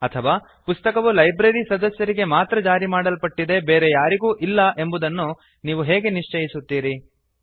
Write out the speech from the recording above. ಅಥವಾ ಪುಸ್ತಕವು ಲೈಬ್ರರಿ ಸದಸ್ಯರಿಗೆ ಮಾತ್ರ ಜಾರಿ ಮಾಡಲ್ಪಟ್ಟಿದೆ ಬೇರೆ ಯಾರಿಗೂ ಇಲ್ಲ ಎಂಬುದನ್ನು ನೀವು ಹೇಗೆ ನಿಶ್ಚಯಿಸುತ್ತೀರಿ160